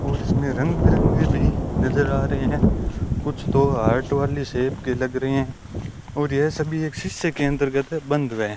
और इसमें रंग बिरंगे भी नजर आ रहे हैं कुछ तो हार्ट वाले शेप के लग रहे हैं और ये सभी एक शिष्य के अंतर्गत बन रहे--